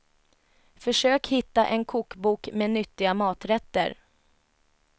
Försök hitta en kokbok med nyttiga maträtter.